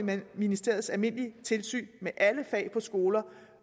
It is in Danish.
ministeriets almindelige tilsyn med alle fag på skoler